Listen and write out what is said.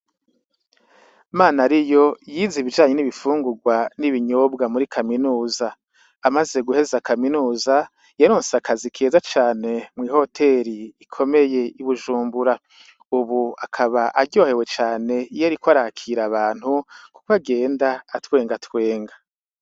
Manariyo yize ibijanye n'ibifungurwa n'ibinyobwa muri kaminuza ,amaze guheza kaminuza yaronse akazi keza cane mw'ihoteri ikomeye ibujumbura, ubu akaba aryohewe cane iyo ariko arakira abantu, kukw'agenda atwenga twenga.